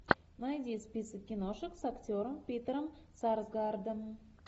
найди список киношек с актером питером сарсгаардом